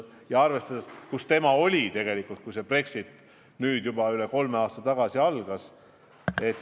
Ja tegelikult algas Brexit nüüd juba üle kolme aasta tagasi.